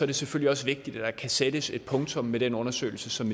det selvfølgelig også vigtigt at der kan sættes et punktum med den undersøgelse som